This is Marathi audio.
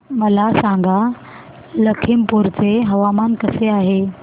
मला सांगा लखीमपुर चे हवामान कसे आहे